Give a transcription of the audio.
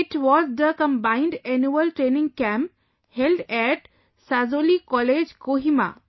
It was the combined Annual Training Camp held at Sazolie College, Kohima